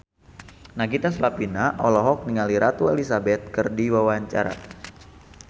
Nagita Slavina olohok ningali Ratu Elizabeth keur diwawancara